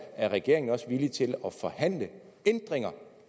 er regeringen også villig til at forhandle ændringer